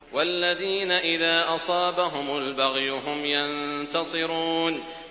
وَالَّذِينَ إِذَا أَصَابَهُمُ الْبَغْيُ هُمْ يَنتَصِرُونَ